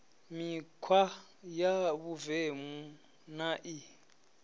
mikhwa ya vhuvemu na i